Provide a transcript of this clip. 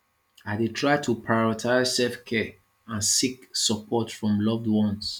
i dey try to prioritize selfcare and seek support from loved ones